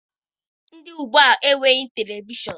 Ndị gboo enweghị televishọnụ.